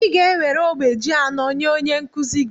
ị ga-enwere ogbe ji anọ nye onye nkuzi gị